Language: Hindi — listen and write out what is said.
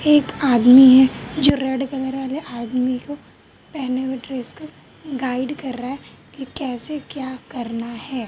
एक आदमी है जो रेड कलर वाले आदमी को पहने हुए ड्रेस का गाइड कर रहा है कि कैसे क्या करना है।